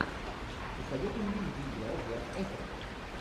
посоветуй мне где играл зак эфрон